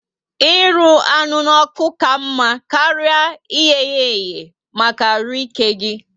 Ịrụ anụ n'oku ka mma karịa iyeya ehe maka arụ ike gi